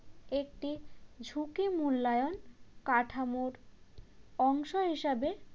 একটি ঝুঁকি মূল্যায়ন কাঠামোর অংশ হিসাবে